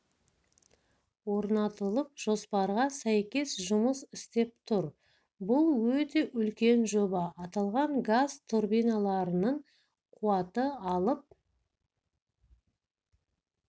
орнатылып жоспарға сәйкес жұмыс істеп тұр бұл өте үлкен жоба аталған газ турбиналарының қуаты алып